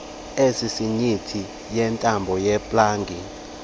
esisinyithi yentambo yeplagi